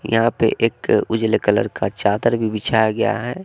यहां पे एक उजले कलर का चादर भी बिछाया गया है।